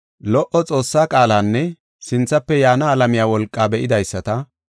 lo77o Xoossaa qaalanne sinthafe yaana alamiya wolqaa be7idaysata,